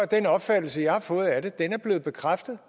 den opfattelse jeg har fået af det er blevet bekræftet